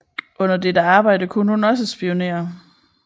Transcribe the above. Under dette arbejde kunne hun også spionere